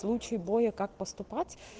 в случае боя как поступать